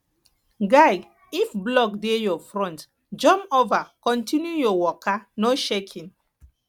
guy if block dey your front jump over continue your waka no shaking